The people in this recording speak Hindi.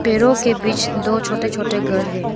पेड़ों के बीच दो छोटे छोटे घर हैं।